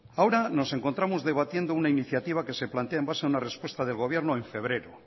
ahora nos encontramos debatiendo una iniciativa que se plantea en base a una repuesta de gobierno en febrero